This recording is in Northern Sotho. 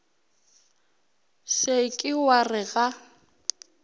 se ke wa re ga